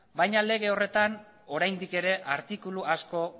baina lege horretan oraindik ere artikulu asko